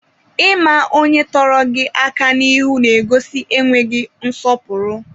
Ịma onye tọrọ gị aka n'iru n'egosi enweghị nsọpụrụ.